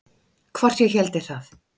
Hvort ég héldi það?